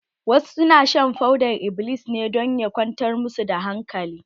Wasu na shan fodar-iblis iblis ne don ya kwantar ma su da hankali.